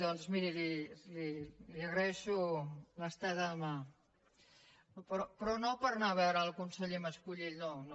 doncs miri li agraeixo l’estesa de mà però no per anar a veure el conseller mascolell no no